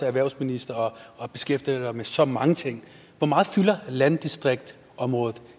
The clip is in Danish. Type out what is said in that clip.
erhvervsminister og beskæftiger dig med så mange ting hvor meget fylder landdistriktsområdet